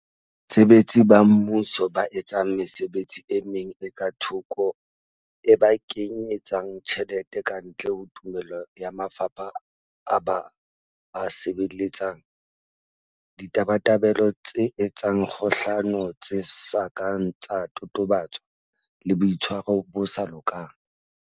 Basebetsi ba Mmuso ba etsang mesebetsi e meng e ka thoko e ba kenye tsang tjhelete kantle ho tumello ya mafapha a ba a sebeletsang, Ditabatabelo tse etsang kgohlano tse sa kang tsa totobatswa le, Boitshwaro bo sa lokang.